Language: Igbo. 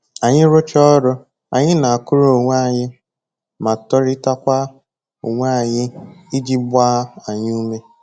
Anyị rụchaa ọrụ, anyị na-akụrụ onwe anyị ma toritakwa onwe anyị iji gbaa anyị ume